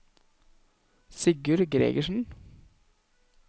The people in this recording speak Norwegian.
Sigurd Gregersen